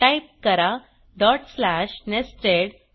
type करा dot slash nested